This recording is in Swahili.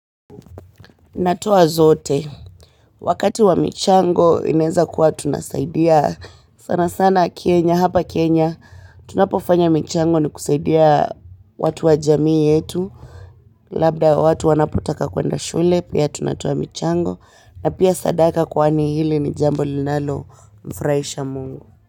Natoa zote. Wakati wa michango inaezakuwa tunasaidia sana sana Kenya, hapa Kenya, tunapofanya michango ni kusaidia watu wa jamii yetu. Labda watu wanapotaka kuenda shule, pia tunatoa michango, na pia sadaka kwani hili ni jambo linalomfurahisha Mungu.